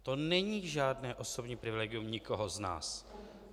To není žádné osobní privilegium nikoho z nás.